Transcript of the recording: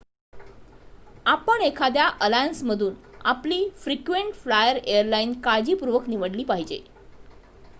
आपण एखाद्या अलायन्समधून आपली फ्रिक्वेंट फ्लायर एयरलाईन काळजीपूर्वक निवडली पाहिजे